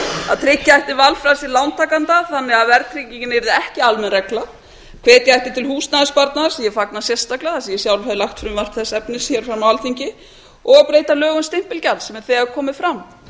að tryggja ætti valfrelsi lántakenda þannig að verðtryggingin yrði ekki almenn regla hvetja ætti til húsnæðissparnaðar sem ég fagna sérstaklega af því að ég sjálf hef lagt fram frumvarp þess efnis hér á alþingi og breyta lögum stimpilgjalds sem hefur þegar komið fram